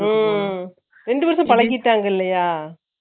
ம் ரெண்டு பேருக்கு பழகிட்டாங்க இல்லையா